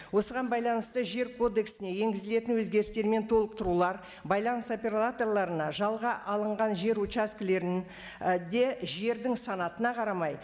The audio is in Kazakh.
осыған байлансыты жер кодексіне енгізілетін өзгерістер мен толықтырулар байланыс операторларына жалға алынған жер участкілерінде жердің санатына қарамай